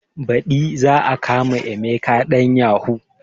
Baɗi za a kama emeka ɗan yahu